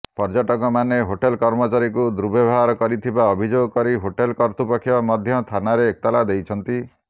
ପର୍ଯ୍ୟଟକମାନେ ହୋଟେଲ କର୍ମଚାରୀଙ୍କୁ ଦୁର୍ବ୍ୟବହାର କରିଥିବା ଅଭିଯୋଗ କରି ହୋଟେଲ କର୍ତ୍ତୃପକ୍ଷ ମଧ୍ୟ ଥାନାରେ ଏତଲା ଦେଇଛନ୍ତି